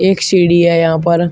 एक सीढ़ी है यहां पर--